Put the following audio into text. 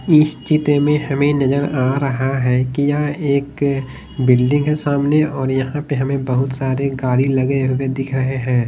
इस चित्र में हमें नजर आ रहा है कि यह एक अ बिल्डिंग है सामने और यहां पे हमें बहुत सारे गाड़ी लगे हुए दिख रहे हैं।